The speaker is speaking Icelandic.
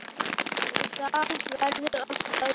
Og það verður að stöðva.